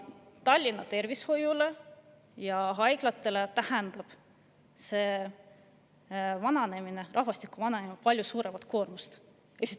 Tallinna tervishoiule ja haiglatele tähendab rahvastiku vananemine palju suuremat koormust.